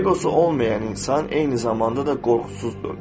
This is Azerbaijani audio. Eqosu olmayan insan eyni zamanda da qorxusuzdur.